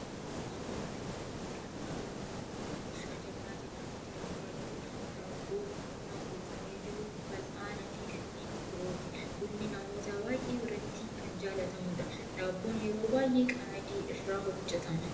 Suuraa kana irratti kan agarru buna meeshaa jabanaa jedhamutti danfaa jiru, daabboo, buna buufamee jiru, fal'aana fi kanneen birooti. Bunni namoota baayyee biratti kan jaalatamudha. Daabboon yeroo baayyee qamadii irraa hojjetama.